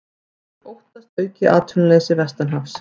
Óttast aukið atvinnuleysi vestanhafs